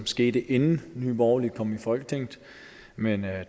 skete inden nye borgerlige kom i folketinget men